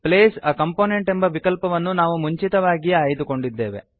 place a component ಎಂಬ ವಿಕಲ್ಪವನ್ನು ನಾವು ಮುಂಚಿತವಾಗಿಯೇ ಆಯ್ದುಕೊಂಡಿದ್ದೇವೆ